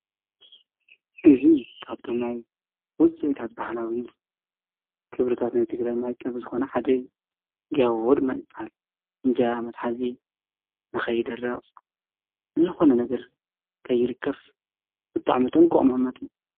እዙ ካብቶማይ ውፅአታት በሃላዊዝ ክብርታት ናይ ቲ ግራይ መያቀብ ዝኾነ ሓደ ጋያውወድ ማይልበሃል እንጃ መትሓእዚ ነኸይደረቕ ዝኾነ ነገር ከይልከፍ ቊጥዕ መጠን ክኦምመጥ።